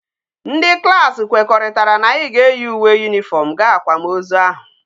Ndi klas kwekoritara na anyi ga eyi uwe uniform ga akwam ozu ahu